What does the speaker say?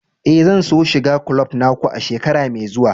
Eh, zan so shiga kulob na ku a shekara mai zuwa.